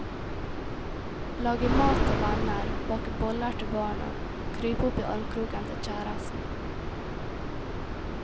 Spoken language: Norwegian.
Lage mat til venner, bake boller til barna, krype opp i armkroken til kjæresten.